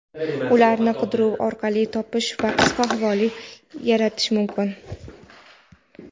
ularni qidiruv orqali topish va qisqa havola yaratish mumkin.